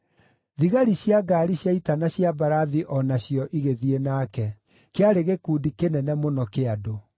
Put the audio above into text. Thigari cia ngaari cia ita na cia mbarathi o na cio igĩthiĩ nake. Kĩarĩ gĩkundi kĩnene mũno kĩa andũ.